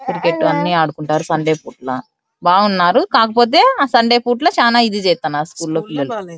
Cricket అన్ని ఆడుకుంటారు Sunday పూట్ల బాగున్నారు కాకపోతే ఆ సండే పూట్ల చానా ఇది చేస్తున్నారు స్కూల్ లో పిల్లలు.